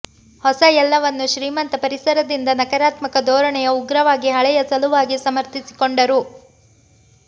ಹೊಸ ಎಲ್ಲವನ್ನೂ ಶ್ರೀಮಂತ ಪರಿಸರದಿಂದ ನಕಾರಾತ್ಮಕ ಧೋರಣೆಯ ಉಗ್ರವಾಗಿ ಹಳೆಯ ಸಲುವಾಗಿ ಸಮರ್ಥಿಸಿಕೊಂಡರು